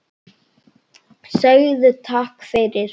Segðu takk fyrir.